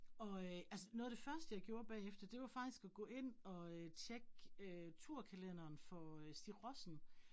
Og øh altså noget af det første jeg gjorde bagefter det var faktisk at gå ind og øh tjekke øh turkalenderen for øh Stig Rossen